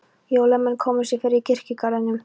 Hólamenn komu sér fyrir í kirkjugarðinum.